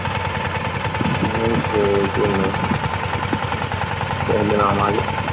ਨਹੀਂ ਸਵੇਰੇ ਕਿ ਹੁਣ ਕਿਸੇ ਦਿਨ ਆਵਾਂਗੇ।